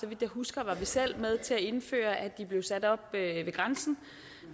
så vidt jeg husker var vi selv med til at indføre at de blev sat op ved grænsen